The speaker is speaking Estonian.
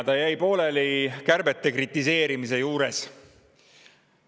Ta jäi pooleli kärbete kritiseerimise juures.